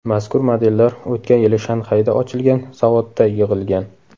Mazkur modellar o‘tgan yili Shanxayda ochilgan zavodda yig‘ilgan.